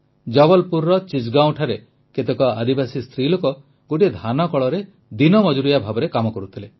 ଜବଲପୁରର ଚିଚ୍ଗାଓଁଠାରେ କେତେକ ଆଦିବାସୀ ସ୍ତ୍ରୀ ଲୋକ ଗୋଟିଏ ଧାନକଳରେ ଦିନ ମଜୁରିଆ ଭାବେ କାମ କରୁଥିଲେ